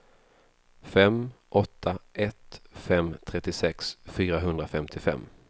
fem åtta ett fem trettiosex fyrahundrafemtiofem